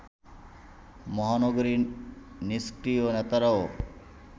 মহানগরীর নিষ্ক্রিয় নেতারাও